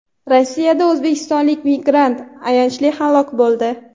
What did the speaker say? Rossiyada o‘zbekistonlik migrant ayanchli halok bo‘ldi.